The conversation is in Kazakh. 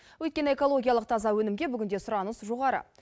өйткені экологиялық таза өнімге бүгінде сұраныс жоғары